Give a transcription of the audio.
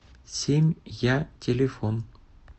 семь я телефон